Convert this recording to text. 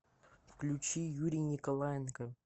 включи юрий николаенко